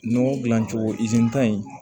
Nɔgɔ dilan cogo in